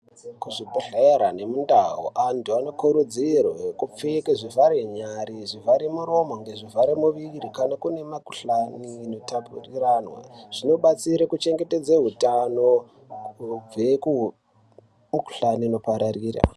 Kuzvibhedhlera nemundau vantu vanokurudzirwe kupfeke zvivhare nyare zvivhare muromo ngezvivhara muviri. Kana kune mikuhlani inotapuriranwa zvinobatsire kuchengetedze hutano kubve kumikuhlani inopararira.